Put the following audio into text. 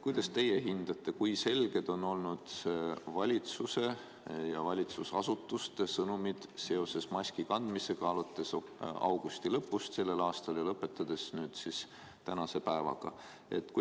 Kuidas teie hindate, kui selged on valitsuse ja valitsusasutuste sõnumid maski kandmise kohta olnud alates augusti lõpust ja lõpetades tänase päevaga?